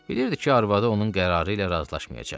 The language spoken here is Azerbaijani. Bilirdi ki, arvadı onun qərarı ilə razılaşmayacaq.